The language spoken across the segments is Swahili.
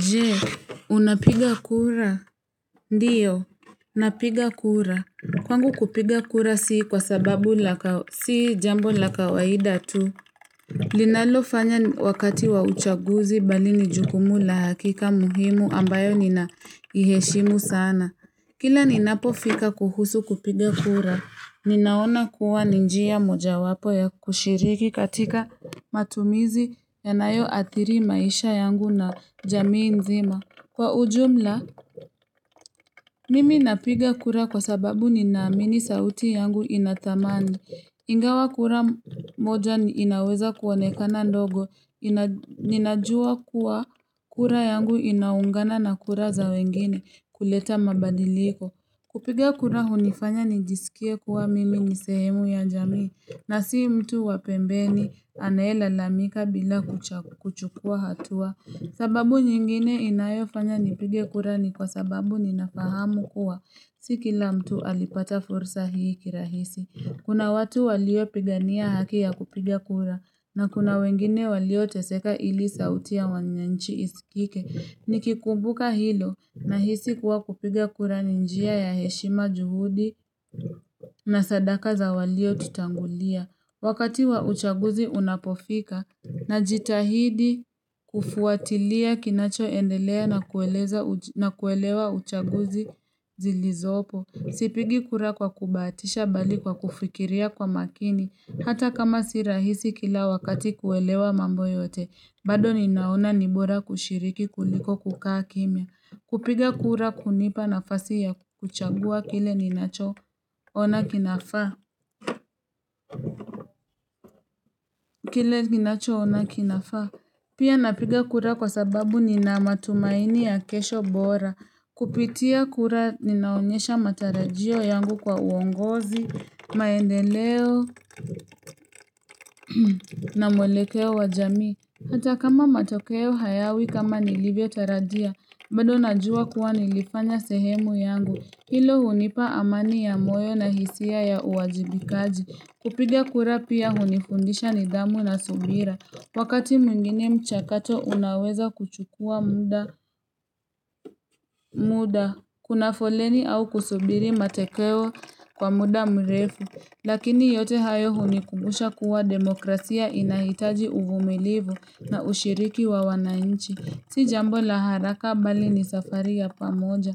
Jee, unapiga kura? Ndiyo, napiga kura. Kwangu kupiga kura si kwa sababu la kawai si jambo la kawaida tu. Linalo fanya wakati wa uchaguzi bali ni jukumu la hakika muhimu ambayo nina iheshimu sana. Kila ninapo fika kuhusu kupiga kura, ninaona kuwa ni njia mojawapo ya kushiriki katika matumizi yanayo athiri maisha yangu na jamii mzima. Kwa ujumla, mimi napiga kura kwa sababu nina amini sauti yangu ina thamani. Ingawa kura moja ni inaweza kuonekana ndogo. Ninajua kuwa kura yangu inaungana na kura za wengine kuleta mabadiliko. Kupiga kura hunifanya nijisikie kuwa mimi ni sehemu ya jamii. Na si mtu wa pembeni anaye lalamika bila kuchagu kuchukua hatua. Sababu nyingine inayofanya nipige kura ni kwa sababu ninafahamu kuwa si kila mtu alipata fursa hii kirahisi. Kuna watu walio pigania haki ya kupiga kura na kuna wengine walio teseka ili sautia wananchi isikike. Nikikumbuka hilo nahisi kuwa kupiga kura ni njia ya heshima juhudi na sadaka za walio tutangulia. Wakati wa uchaguzi unapofika na jitahidi kufuatilia kinacho endelea na kueleza na kuelewa uchaguzi zilizopo. Sipigi kura kwa kubahatisha bali kwa kufikiria kwa makini. Hata kama si rahisi kila wakati kuelewa mambo yote. Baado ninaona ni bora kushiriki kuliko kukaa kimya. Kupiga kura kunipa nafasi ya kuchagua kile ninacho ona kinafaa. Kile ninacho ona kinafaa. Pia napiga kura kwa sababu nina matumaini ya kesho bora. Kupitia kura ninaonyesha matarajio yangu kwa uongozi, maendeleo na mwelekeo wa jamii. Hata kama matokeo hayawi kama nilivyo tarajia, baado najua kuwa nilifanya sehemu yangu. Hilo hunipa amani ya moyo na hisia ya uwajibikaji. Kupiga kura pia hunifundisha nidhamu na subira. Wakati mwingine mchakato unaweza kuchukua muda muda kuna foleni au kusubiri matekeo kwa muda mrefu. Lakini yote hayo hunikubusha kuwa demokrasia inahitaji uvumilivu na ushiriki wa wananchi. Si jambo la haraka bali ni safari ya pamoja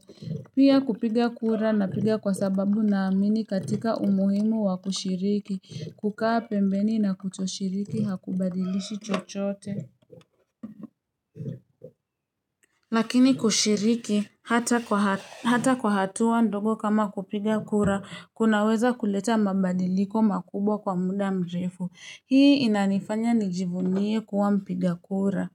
Pia kupiga kura napiga kwa sababu na amini katika umuhimu wa kushiriki kukaa pembeni na kutoshiriki hakubadilishi chochote Lakini kushiriki hata kwa ha hata kwa hatua ndogo kama kupiga kura kunaweza kuleta mabadiliko makubwa kwa muda mrefu Hii inanifanya nijivunie kuwa mpiga kura.